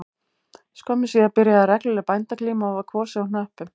Skömmu síðar byrjaði regluleg bændaglíma og var kosið á hnöppum